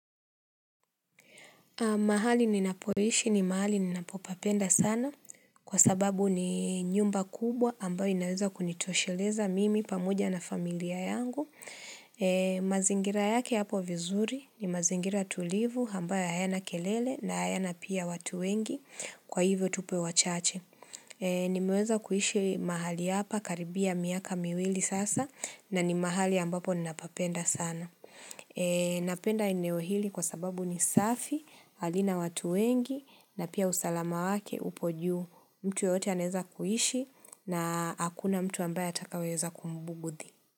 Mahali ninapoishi ni mahali ninapopapenda sana kwa sababu ni nyumba kubwa ambayo inaweza kunitosheleza mimi pamoja na familia yangu. Mazingira yake yapo vizuri ni mazingira tulivu ambayo hayana kelele na hayana pia watu wengi kwa hivyo tupo wachache. Nimeweza kuishi mahali hapa karibia miaka miwili sasa na ni mahali ambapo ninapapenda sana. Napenda eneo hili kwa sababu ni safi, halina watu wengi na pia usalama wake upo juu mtu yeyote anaeza kuhishi na hakuna mtu ambaye atakaweza kumbugudhi.